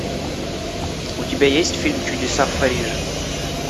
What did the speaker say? у тебя есть фильм чудеса в париже